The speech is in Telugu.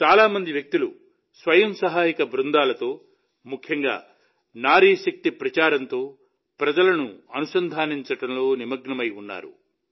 చాలా మంది వ్యక్తులు స్వయం సహాయక బృందాలతో ముఖ్యంగా నారీ శక్తి ప్రచారంతో ప్రజలను అనుసంధానించడంలో నిమగ్నమై ఉన్నారు